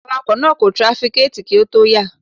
Awakọ̀ náà kò trafikéẹ̀tì kí ó tó yà.